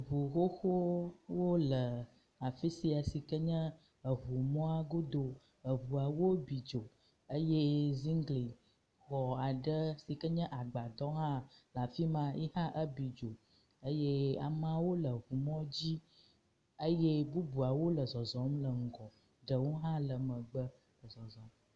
Ŋu xoxowo le afi sia si ken ye eŋumɔa godo. Eŋuawo bi dzo eye ziŋglixɔ aɖe si ken ye agbadɔ hã le afi ma eyi hã ebi dzo eye ameawo le eŋumɔ dzi eye bubuawo le zɔzɔm le ŋgɔ, ɖewo hã le megbe le zɔzɔ.